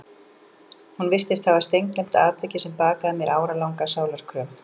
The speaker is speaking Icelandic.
Hún virtist hafa steingleymt atviki sem bakaði mér áralanga sálarkröm.